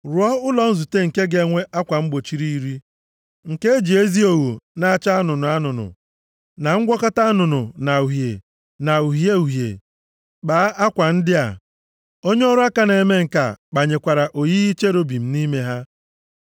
“Rụọ ụlọ nzute nke ga-enwe akwa mgbochi iri, nke e ji ezi ogho na-acha anụnụ anụnụ, na ngwakọta anụnụ na uhie, na uhie uhie kpaa akwa ndị a. Onye ọrụ aka na-eme ǹka kpanyekwara oyiyi cherubim nʼime ha.